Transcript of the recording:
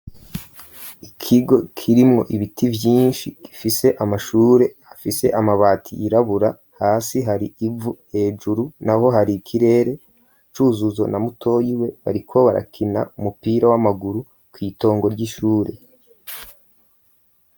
Ikigo kirimwo ibiti vyinshi gifise amashure hafise amabati irabura hasi hari ivu hejuru na ho hari ikirere cuzuzo na mutoyi we bariko barakina umupira w'amaguru kw'itongo ry'ishure.